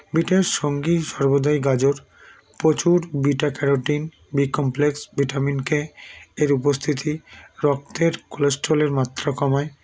বিটের সঙ্গি সর্বদাই গাজর প্রচুর beta carotene b complex vitamin k -এর উপস্থিতি রক্তে cholesterol -এর মাত্রা কমায়